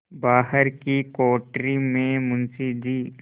बाहर की कोठरी में मुंशी जी